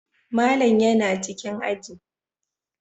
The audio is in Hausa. Malam yana cikin aji